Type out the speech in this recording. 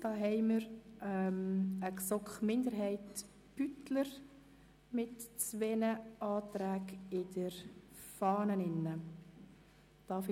Hier haben wir eine GSoK-Minderheit/Beutler mit zwei Anträgen gemäss Fahne.